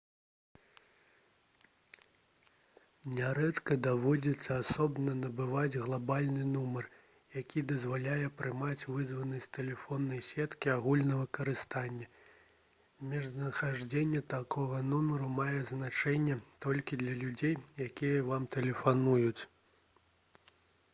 нярэдка даводзіцца асобна набываць глабальны нумар які дазваляе прымаць вызавы з тэлефоннай сеткі агульнага карыстання месцазнаходжанне такога нумару мае значэнне толькі для людзей якія вам тэлефануюць